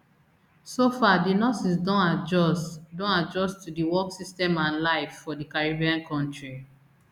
so far di nurses don adjust don adjust to di work system and life for di caribbean kontri